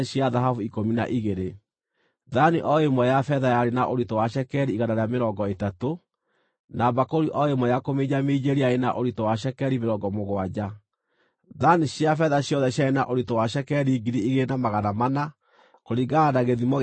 Thaani o ĩmwe ya betha yarĩ na ũritũ wa cekeri igana rĩa mĩrongo ĩtatũ, na mbakũri o ĩmwe ya kũminjaminjĩria yarĩ na ũritũ wa cekeri mĩrongo mũgwanja. Thaani cia betha ciothe ciarĩ na ũritũ wa cekeri ngiri igĩrĩ na magana mana, kũringana na gĩthimo gĩa cekeri ya harĩa haamũre.